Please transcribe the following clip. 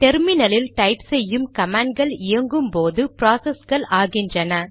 terminal இல் type செய்யும் கமாண்ட்கள் இயங்கும்போது ப்ராசஸ்கள் ஆகின்றன